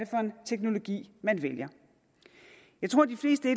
for en teknologi man vælger jeg tror de fleste